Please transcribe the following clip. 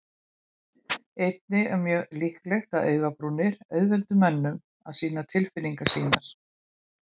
Einnig er mjög líklegt að augabrúnir auðveldi mönnum að sýna tilfinningar sínar.